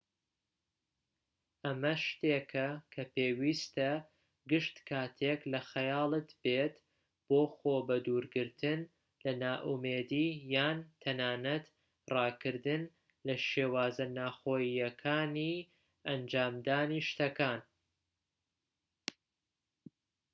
ئەمە شتێکە کە پێویستە گشت كاتێك لە خەیاڵت بێت بۆ خۆ بە دوورگرتن لە نائومێدی یان تەنانەت ڕاکردن لە شێوازە ناوخۆییەکانی ئەنجامدانی شتەکان